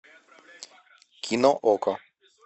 кино окко